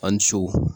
An ni so